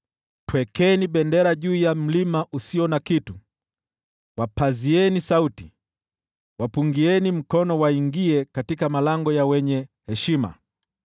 Twekeni bendera juu ya mlima usio na kitu, wapazieni sauti, wapungieni mkono waingie katika malango ya wenye heshima.